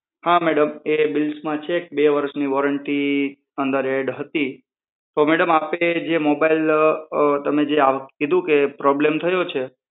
હા મેડમ એ બિલ્સમાં છે બે વરસની વોરંટી અંદર એડ હતી પણ મેડમ આપે જે મોબાઈલ અં તમે જે કીધું કે પ્રોબ્લમ થયો છે.